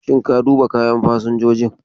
Shin ka duba kayan fasinjojin?